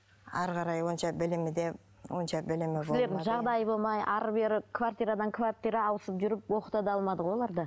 әрі қарай онша білімі де онша білімі жағдайы болмай әрі бері квартирадан квартира ауысып жүріп оқыта да алмады ғой оларды